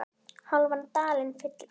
hálfan dalinn fylla